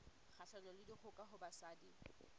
kgahlanong le dikgoka ho basadi